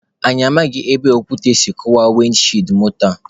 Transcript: Anyi amaghị ebe okwute si kụwaa wịndị shiidi moto a.